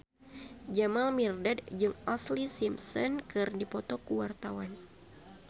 Jamal Mirdad jeung Ashlee Simpson keur dipoto ku wartawan